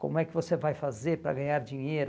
Como é que você vai fazer para ganhar dinheiro?